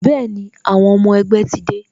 Bẹẹni, àwọn ọmọ ẹgbẹ́ ti dé